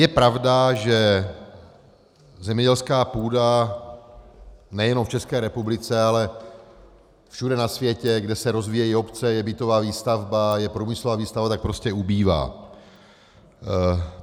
Je pravda, že zemědělská půda nejenom v České republice, ale všude na světě, kde se rozvíjejí obce, je bytová výstavba, je průmyslová výstavba, tak prostě ubývá.